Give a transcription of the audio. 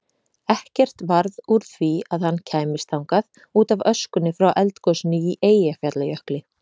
Ekkert varð úr því að hann kæmist þangað útaf öskunni frá eldgosinu í Eyjafjallajökli.